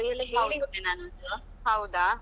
ಅವ್ರಿಗೆಲ್ಲಾ ಹೇಳಿ ಇಡ್ತೇ ನಾನ್ನೊಂದು.